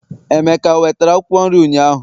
emeka o wetara Akwụkwọ nri ụnyaahụ?